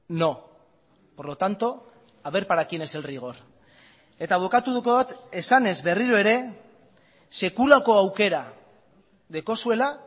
no por lo tanto haber para quien es el rigor eta bukatuko dut esanez berriro ere sekulako aukera daukazuela